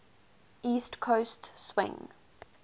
east coast swing